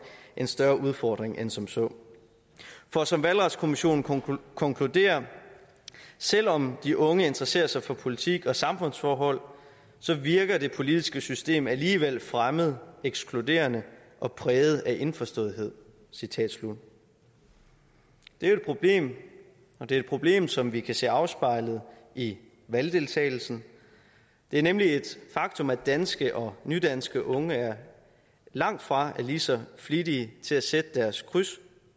en større udfordring end som så for som valgretskommissionen konkluderer selv om de unge interesserer sig for politik og samfundsforhold så virker det politiske system alligevel fremmed ekskluderende og præget af indforståethed citat slut det er et problem og det er et problem som vi kan se afspejlet i valgdeltagelsen det er nemlig et faktum at danske og nydanske unge langtfra er lige så flittige til at sætte deres kryds